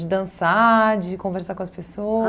dançar, de conversar com as